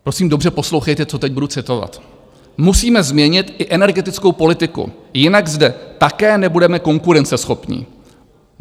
Prosím, dobře poslouchejte, co teď budu citovat: "Musíme změnit i energetickou politiku, jinak zde také nebudeme konkurenceschopní.